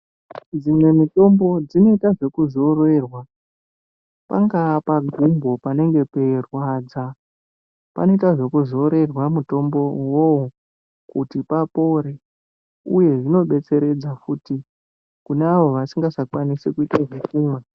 Dzimwe mitombo dzinoita zvekuzorerwa pangava pagumbo panenge peirwadza panoita zvekuzorerwa mutombo uwowo kuti papore kune awo vasingachakwanisi kuita zvekumwa.